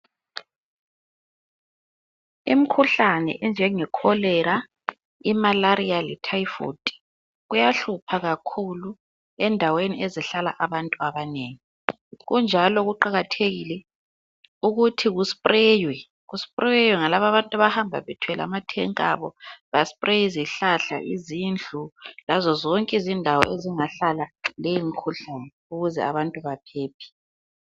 Imikhuhlane enjenge kholera, imalaria le thayifodi, kuyahlupha kakhulu endaweni ezihlala abantu abanengi, kunjalo kuqakathekile ukuthi ku spreywe, ku spreywe ngalaba abantu abahamba bethwele ama thenki abo , ba spreye izihlahla lezindlu, lazozonke izindawo ezingahlala leyi imikhuhlane ukuze abantu baphephe.